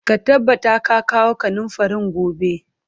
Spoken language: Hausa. Ka tabbata ka kawo kanunfarin gobe!